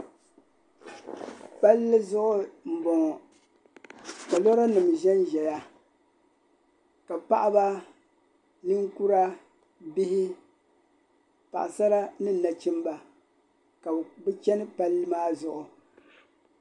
palli zuɣu m-bɔŋɔ ka lora nim ʒenzaya ka paɣa ba ninkura bihi paɣ'sara ni nachimba ka bɛ chani palli maa zuɣu.